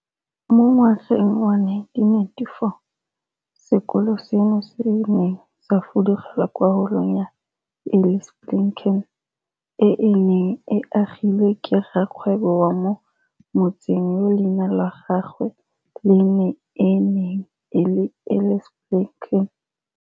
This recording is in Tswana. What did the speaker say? Mo ngwageng wa 1994, sekolo seno se ne sa fudugela kwa Holong ya Eli Spilkin, e e neng e agilwe ke rrakgwebo wa mo motseng yo leina la gagwe le ene e neng e le Eli Spilkin.